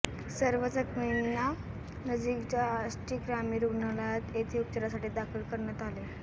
सर्व जखमींना नजीकच्या आष्टी ग्रामीण रुग्णालय येथे उपचारासाठी दाखल करण्यात आले